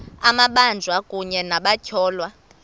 amabanjwa kunye nabatyholwa